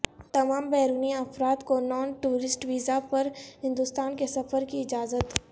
تمام بیرونی افراد کو نان ٹورسٹ ویزا پر ہندوستان کے سفر کی اجازت